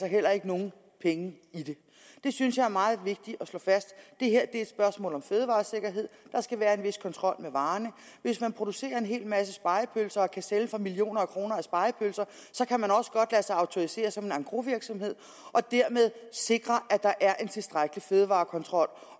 heller ikke nogen penge i det det synes jeg er meget vigtigt at slå fast det her er et spørgsmål om fødevaresikkerhed der skal være en vis kontrol med varerne hvis man producerer en hel masse spegepølser og kan sælge for millioner af kroner af spegepølser kan man også godt lade sig autorisere som en engrosvirksomhed og dermed sikre at der er en tilstrækkelig fødevarekontrol